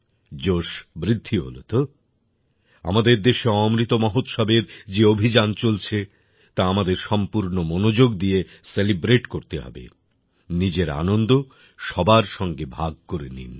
জোশ বৃদ্ধি হলো তো আমাদের দেশে অমৃত মহোৎসবের যে অভিযান চলছে তা আমাদের সম্পূর্ণ মনোযোগ দিয়ে সেলিব্রেট করতে হবে নিজের আনন্দ সবার সঙ্গে ভাগ করে নিন